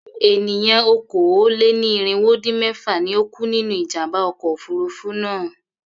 Ènìyàn okòó-lé-ní-irínwó-dín-mẹ́fà ni ó kú nínú ìjàm̀bá ọkọ̀ òfurufú náà.